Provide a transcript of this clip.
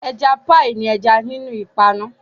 Ẹja píì ní ẹja nínú ìpanu.